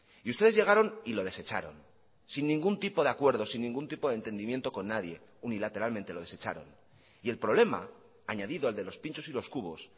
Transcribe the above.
y ustedes llegaron y lo desecharon sin ningún tipo de acuerdo sin ningún tipo de entendimiento con nadie unilateralmente lo desecharon y el problema añadido al de los pinchos y los cubos